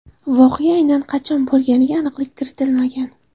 Voqea aynan qachon bo‘lganiga aniqlik kiritilmagan.